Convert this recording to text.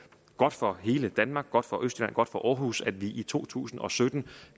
godt for hele danmark godt for østjylland godt for aarhus at vi i to tusind og sytten